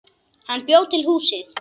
Hann bjó til húsið.